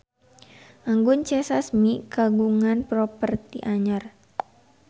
Anggun C. Sasmi kagungan properti anyar